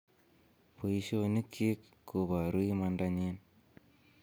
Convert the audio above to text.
"Boisionikyik koboru imandanyin."